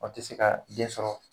O tɛ se ka den sɔrɔ